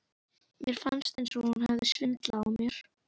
Mér fannst eins og hún hefði svindlað á mér.